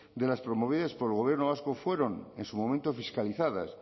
de las promovidas por el gobierno vasco fueron en su momento fiscalizadas